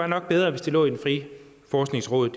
nok var bedre hvis det lå i det frie forskningsråd